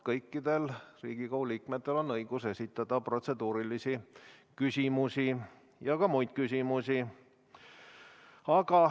Kõikidel Riigikogu liikmetel on õigus esitada protseduurilisi küsimusi ja ka muid küsimusi.